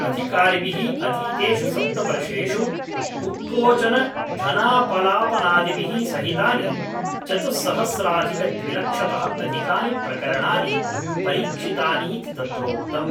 अधिकारिभिः अतीतेषु सप्तवर्षेषु उत्कोचनधनापलापादिभिः सहितानि चतुस्सहस्राधिकद्विलक्षतः अधिकानि प्रकरणानि परीक्षितानीति तत्रोक्तम्